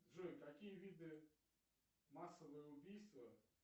джой какие виды массовое убийство